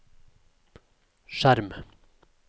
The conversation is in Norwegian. skjerm